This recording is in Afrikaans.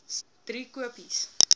driekopies